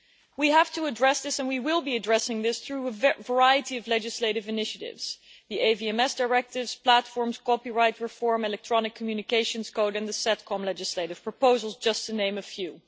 We have to address this and we will be addressing this through a variety of legislative initiatives the AVMS directives, platforms, copyright reform and electronic communications code in the SETCOM legislative proposals, just to name a few.